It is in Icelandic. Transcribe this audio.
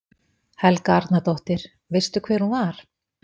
Helga Arnardóttir: Veistu hver hún var?